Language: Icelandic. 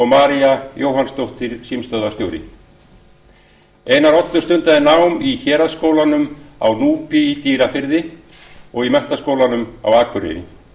maría jóhannsdóttir símstöðvarstjóri einar oddur stundaði nám í héraðsskólanum á núpi í dýrafirði og í menntaskólanum á akureyri